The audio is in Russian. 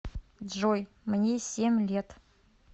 джой мне семь лет